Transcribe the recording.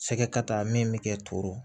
Sɛgɛ ka taa min bɛ kɛ toto